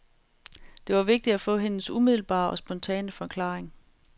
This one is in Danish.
Det var vigtigt at få hendes umiddelbare og spontane forklaring.